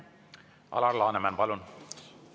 Alar Laneman, palun!